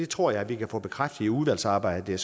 tror vi kan få bekræftet i udvalgsarbejdet